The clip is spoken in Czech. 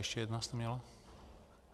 Ještě jednu jste měla.